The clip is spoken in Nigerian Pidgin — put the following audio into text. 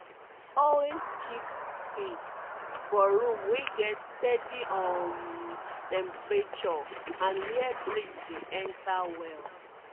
always keep seeds for room wey get steady um temperature and where breeze dey enter well